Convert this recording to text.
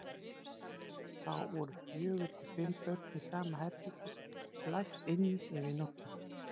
Þá voru fjögur til fimm börn í sama herbergi og læst inni yfir nóttina.